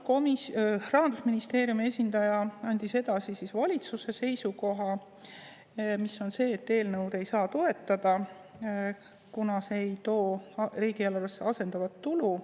Rahandusministeeriumi esindaja andis edasi valitsuse seisukoha, mis on see, et eelnõu ei saa toetada, kuna see ei too riigieelarvesse asendatavat tulu.